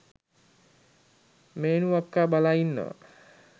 මේනු අක්කා බලා ඉන්නවා